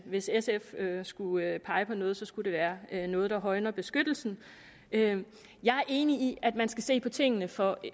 hvis sf skulle pege på noget skulle det være noget der højner beskyttelsen jeg er enig i at man skal se på tingene fra